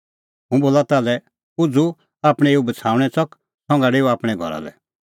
हुंह बोला ताल्है उझ़ू आपणैं एऊ बछ़ाऊणैं च़क संघा डेऊ आपणैं घरा लै